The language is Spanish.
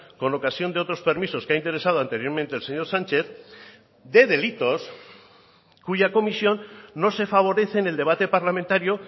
con ocasión de otros permisos que ha interesado anteriormente el señor sánchez de delitos cuya comisión no se favorece en el debate parlamentario